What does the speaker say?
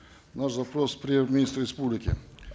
наш запрос к премьер министру республики